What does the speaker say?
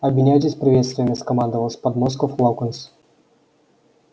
обменяйтесь приветствиями скомандовал с подмостков локонс